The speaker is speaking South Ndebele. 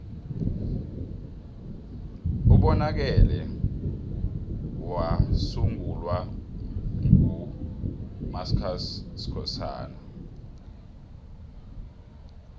ubonakele wasungulwa nqu mascusi skhosana